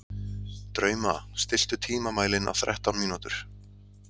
Drauma, stilltu tímamælinn á þrettán mínútur.